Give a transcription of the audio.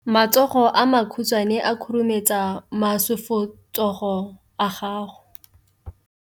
Matsogo a makhutshwane a khurumetsa masufutsogo a gago.